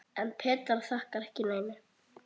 En Petra þakkar ekki neinum.